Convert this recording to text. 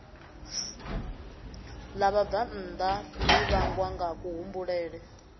ḽa vhabvannḓa ḽi vhangwa ngakuhumbulele